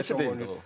Müdafiəçi deyil.